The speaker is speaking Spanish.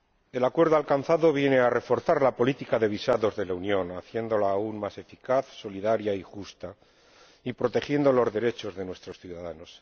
El acuerdo alcanzado viene a reforzar la política de visados de la Unión, haciéndola aún más eficaz, solidaria y justa y protegiendo los derechos de nuestros ciudadanos.